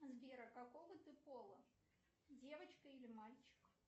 сбер а какого ты пола девочка или мальчик